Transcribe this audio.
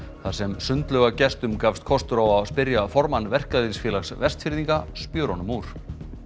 þar sem sundlaugargestum gafst kostur á að spyrja formann Verkalýðsfélags Vestfirðinga spjörunum úr